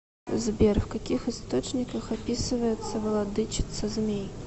сбер в каких источниках описывается владычица змей